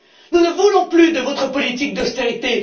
Nous ne voulons plus de votre politique d'austérité.